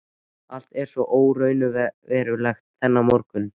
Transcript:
Allt er svo óraunverulegt þennan morgun.